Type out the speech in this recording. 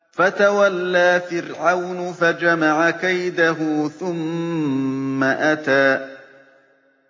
فَتَوَلَّىٰ فِرْعَوْنُ فَجَمَعَ كَيْدَهُ ثُمَّ أَتَىٰ